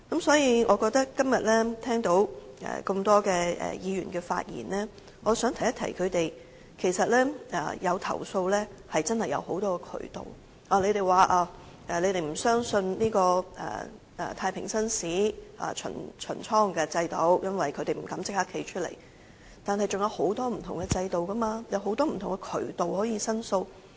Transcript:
所以，我今天聽到多位議員的發言後，便想提醒他們，投訴確實是有很多渠道，他們說不相信太平紳士巡倉制度，因為囚犯不會敢當面站出來，但我們是仍然有很多不同制度，有很多不同渠道可以申訴的。